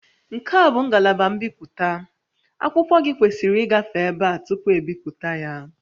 Nke a bụ ngalaba mbipụta, akụkọ gị kwesịrị ịgafe ebe a tupu ebipụta ya